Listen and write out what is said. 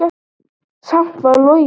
Samt var logn.